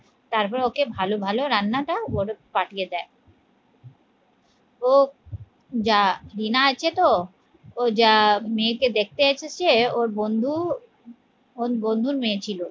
তারপর ওকে ভালো ভালো রান্নাটা পাঠিয়ে দেয় ও যা ডিনা আছে তো ও যা মেয়েকে দেখতে এসেছে ওর বন্ধু ওর বন্ধুর মেয়ে ছিল